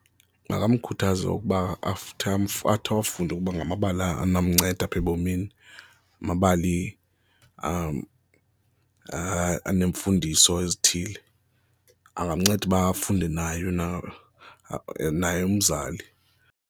Makamkhuthaze ukuba after athi afunde ukuba ngamabali anomnceda apha ebomini, amabali aneemfundiso ezithile, angamnceda uba afunde nayo na, naye umzali.